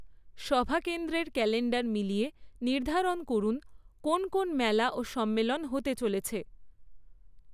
সভাকেন্দ্রের calendar মিলিয়ে নির্ধারণ করুন কোন কোন মেলা ও সম্মেলন হতে চলেছে।